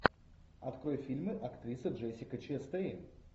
открой фильмы актриса джессика честейн